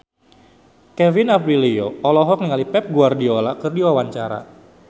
Kevin Aprilio olohok ningali Pep Guardiola keur diwawancara